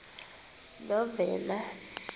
novena